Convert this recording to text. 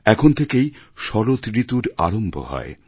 এখন থেকেই শরৎ ঋতুর আরম্ভ হয়